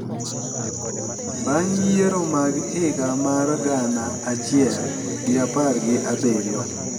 Bang’ yiero mag higa mar gana achiel gi apar gi abiriyo,